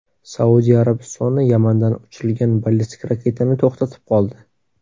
Saudiya Arabistoni Yamandan uchirilgan ballistik raketani to‘xtatib qoldi.